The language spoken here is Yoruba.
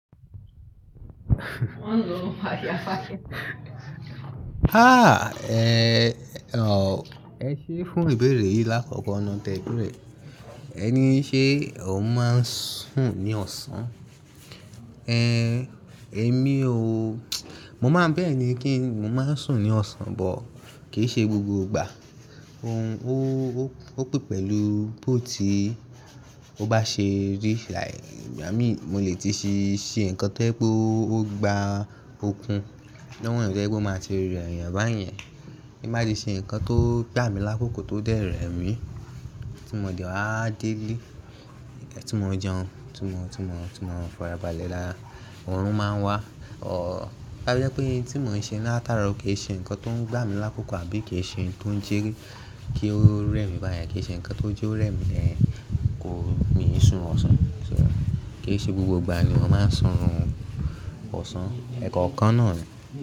Há! È, ò, ẹ ṣe fún ìbéèrè yìí lákòókò nà tẹ́ẹ̀ bẹ̀rẹ̀, ẹ ní ṣé o máa ń sùn ní ọ̀sán? Ehn, èmi o, mo máa ń bẹ́ẹ̀ ni kí n, mo máa ń sùn ní ọ̀sán, but kì í ṣe gbogbo ìgbà. Ohun, ó, ó, ó pè pẹ̀lú bó tí ó bá ṣe reach like, Igba mii, mo lè tíì ṣe, ṣe ǹkan tó jẹ́pe o gba ókun gba lóhùn tó ẹ́ gbó máa ti rẹ́rẹ́ báyẹn. Tí n bá ti ṣe ǹkan tó gbà mí lákòókò tó dẹ́ rẹ̀mi, tí mo dẹ wàá dele, kí ẹ tí mo jẹun, tí mo, tí mo, tí mo farabalẹ̀ lálá, òórùn máa ń wá, ò. Bá bẹ́ pé ohun tí mò ń ṣe láàtàn-àárọ̀ kì í ṣe ǹkan tó ń gbà mí lákòókò àbí kì í ṣe ohun tó ń jẹ́ kí ó rẹ́ mi báyẹn, kì í ṣe ǹkan tó jẹ́ ó rẹ́ mi lẹ́ẹ̀, kò ní sùn ọ̀sán. So, kì í ṣe gbogbo ìgbà ni mo máa ń sùn ọ̀sán. Ẹ̀kọ̀ kan náà ni.